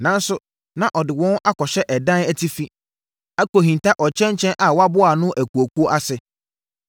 (Nanso, na ɔde wɔn akɔhyɛ ɛdan atifi, akɔhinta ɔkyɛnkyɛn a waboa ano akuakuo ase.)